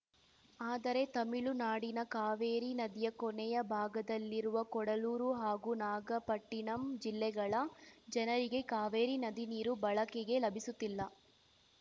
ಆದರೆ ತಮಿಳುನಾಡಿನ ಕಾವೇರಿ ನದಿಯ ಕೊನೆಯ ಭಾಗದಲ್ಲಿರುವ ಕೊಡಲೂರು ಹಾಗೂ ನಾಗಪಟ್ಟಿಣಂ ಜಿಲ್ಲೆಗಳ ಜನರಿಗೆ ಕಾವೇರಿ ನದಿ ನೀರು ಬಳಕೆಗೆ ಲಭಿಸುತ್ತಿಲ್ಲ